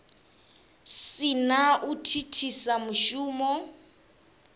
si na u thithisa mushumo